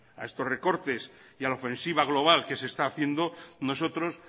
a estos recortes y a la ofensiva global que se está haciendo nosotros